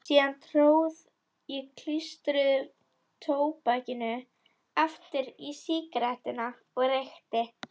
Síðan tróð ég klístruðu tóbakinu aftur í sígarettuna og reykti.